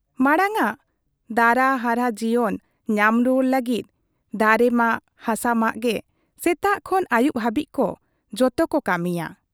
ᱢᱟᱬᱟᱝᱟᱜ ᱫᱟᱨᱟ ᱦᱟᱨᱦᱟ ᱡᱤᱭᱚᱱ ᱧᱟᱢ ᱨᱩᱣᱟᱹᱲ ᱞᱟᱹᱜᱤᱫ ᱫᱟᱨᱮᱢᱟᱜ, ᱦᱟᱥᱟᱢᱟᱜ ᱜᱮ ᱥᱮᱛᱟᱜ ᱠᱷᱚᱱ ᱟᱹᱭᱩᱵ ᱦᱟᱵᱤᱡ ᱡᱚᱛᱚ ᱠᱚ ᱠᱟᱹᱢᱤᱭᱟ ᱾